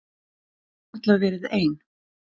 Hún getur varla verið ein.